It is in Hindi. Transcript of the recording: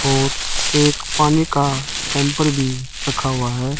और एक पानी का कैंपर भी रखा हुआ है।